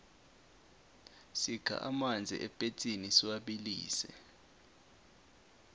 sikha amanzi epetsini siwabilise